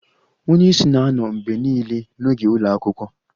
Onye isi na-anọ mgbe niile n'oge ụlọ akwụkwọ